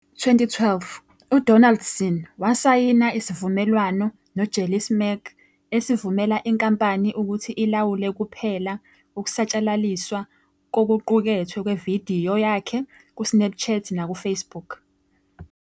NgoMashi 2021, uDonaldson wasayina isivumelwano noJellysmack esivumela inkampani ukuthi ilawule kuphela ukusatshalaliswa kokuqukethwe kwevidiyo yakhe kuSnapchat nakuFacebook.